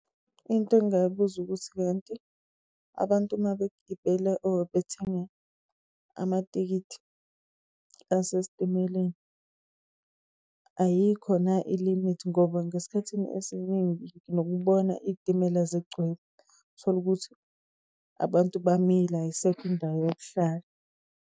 Into engingayibuza ukuthi kanti abantu uma begibela or bethenga amatikithi asestimeleni, ayikho na ilimithi? Ngoba ngesikhathini esiningi nginokubona iy'timela zigcwele, uthole ukuthi abantu bamile ayisekho indawo yokuhlala.